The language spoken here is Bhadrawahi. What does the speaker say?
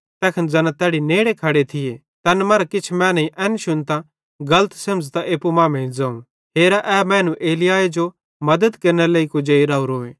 तैखन ज़ैना तैड़ी नेड़े खड़े थिये तैन मरां किछ मैनेईं एन शुन्तां गलत सेमझ़तां एप्पू मांमेइं ज़ोवं हेरा ए मैनू एलिय्याहे जो मद्दत केरनेरे लेइ कुजेई राओरोए